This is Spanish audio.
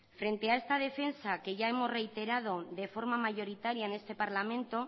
frente a esta defensa que ya hemos reiterado de forma mayoritaria en este parlamento